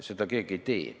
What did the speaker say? Seda keegi ei tee.